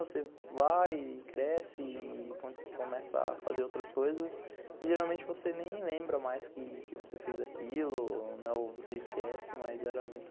Você vai e cresce e começa a fazer outras coisas e geralmente você nem lembra mais que você fez aquilo, ou você esquece, mas era muito...